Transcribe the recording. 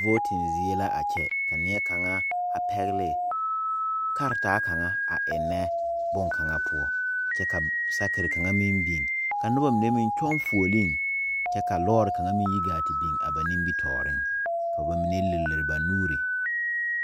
Vooti zie la a kyɛ ka neɛkaŋa a pɛgle karataa kaŋa a ennɛ boŋkaŋa poɔ kyɛ ka sakiri kaŋa meŋ biŋ kyɛ ka loori kaŋa meŋ yi gaa te biŋ a ba nimitɔɔreŋ ka ba mine liri liri ba nuuri.